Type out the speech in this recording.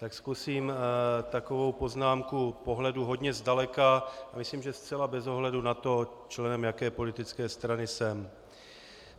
Tak zkusím takovou poznámku pohledu hodně zdaleka a myslím, že zcela bez ohledu na to, členem jaké politické strany jsem.